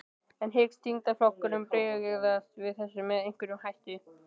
En hyggst þingflokkurinn bregðast við þessu með einhverjum hætti?